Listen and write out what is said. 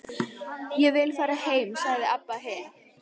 Ég vil fara heim, sagði Abba hin.